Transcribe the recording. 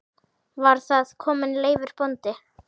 Var þar kominn Leifur bóndi.